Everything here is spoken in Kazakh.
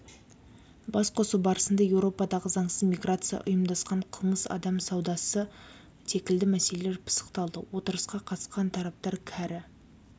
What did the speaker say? басқосу барысында еуропадағы заңсыз миграция ұйымдасқан қылмыс адам саудасы секілді мәселелер пысықталды отырысқа қатысқан тараптар кәрі